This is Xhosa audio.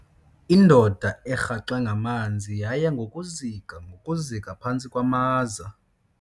Indoda erhaxwe ngamanzi yaya ngokuzika ngokuzika phantsi kwamaza.